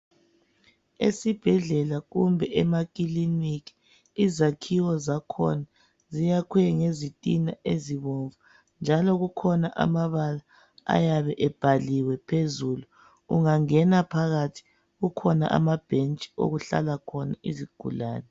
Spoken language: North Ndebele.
Esibhedlela kumbe emakiliniki izakhiwo zakhona ziyakhwe ngezitina ezibomvu. Njalo kukhona amabala ayabe ebhaliwe phezulu. Ungangena phakathi kukhona amabhentshi okuhlala khona izigulane.